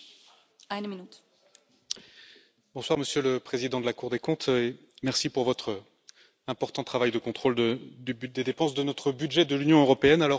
Madame la Présidente, Monsieur le Président de la Cour des comptes, merci pour votre important travail de contrôle des dépenses de notre budget de l'Union européenne.